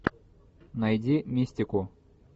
найди мистику